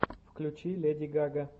включи леди гага